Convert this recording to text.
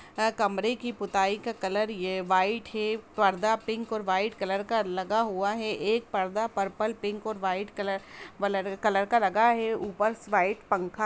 अ कमरे की पोताई का कलर ये वाइट है पर्दा पिक और वाइट कलर का लगा हुआ है एक पर्दा पर्पल पिंक और वाइट कलर कलर का लगा है ऊपर वाइट पंखा --